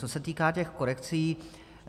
Co se týká těch korekcí.